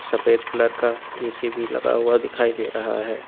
सफेद कलर का ए_सी भी लगा हुआ दिखाई दे रहा है।